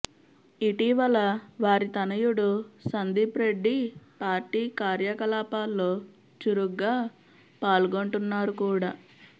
ఇటీవల వారి తనయుడు సందీప్రెడ్డి పార్టీ కార్యకలాపాల్లో చురుగ్గా పాల్గొంటున్నారు కూడా